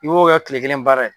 I b'o kɛ tile kelen baara ye